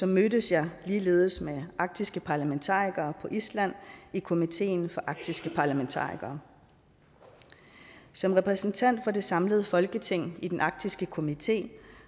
mødtes jeg ligeledes med arktiske parlamentarikere på island i komiteen for arktiske parlamentarikere som repræsentant for det samlede folketing i den arktiske komité